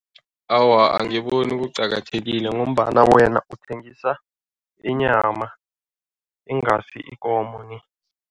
Awa, angiboni kuqakathekile ngombana wena uthengisa inyama, ingasi ikomo ni.